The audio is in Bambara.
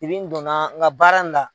Tiri n donna n ka baara in la.